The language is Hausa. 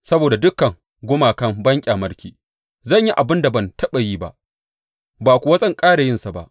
Saboda dukan gumakan banƙyamarki, zan yi abin da ban taɓa yi ba, ba kuwa zan ƙara yinsa ba.